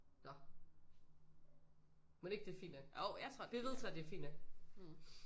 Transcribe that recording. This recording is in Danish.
Nåh mon ikke det er fint nok? Vi vedtager det er fint nok